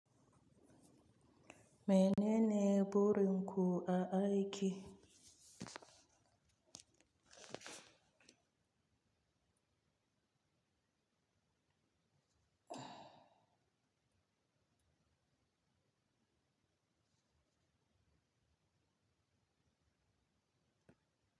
Menene burin ku a aiki?